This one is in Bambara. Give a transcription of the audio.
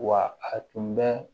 Wa a tun bɛ